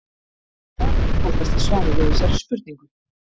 Það er einfaldasta svarið við þessari spurningu.